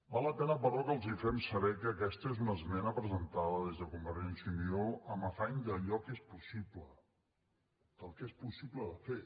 val la pena però que els fem saber que aquesta és una esmena presentada des de convergència i unió amb l’afany d’allò que és possible del que és possible de fer